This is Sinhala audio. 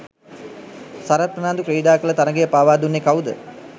සරත් ප්‍රනාන්දු ක්‍රීඩා කල තරගය පාවා දුන්නේ කවුද?